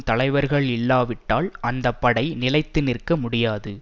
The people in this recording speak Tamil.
தலைவர்கள் இல்லாவிட்டால் அந்த படை நிலைத்து நிற்க முடியாது